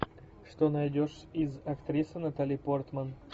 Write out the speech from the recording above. что найдешь из актрисы натали портман